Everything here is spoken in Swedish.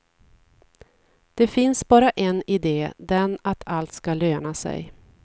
Det finns bara en ide, den att allt ska löna sig.